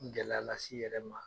gɛlɛya las'i yɛrɛ ma.